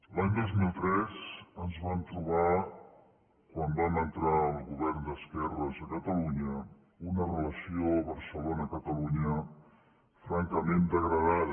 l’any dos mil tres ens vam trobar quan vam entrar el govern d’esquerres a catalunya una relació barcelona catalunya francament degradada